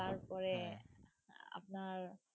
তারপরে আপনার